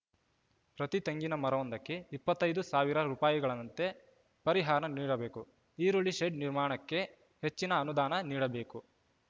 ಪ್ರತಿ ತೆಂಗಿನ ಮರವೊಂದಕ್ಕೆ ಇಪ್ಪತ್ತ್ ಐದು ಸಾವಿರ ರೂಪಾಯಿಗಳನಂತೆ ಪರಿಹಾರ ನೀಡಬೇಕು ಈರುಳ್ಳಿ ಶೆಡ್‌ ನಿರ್ಮಾಣಕ್ಕೆ ಹೆಚ್ಚಿನ ಅನುದಾನ ನೀಡಬೇಕು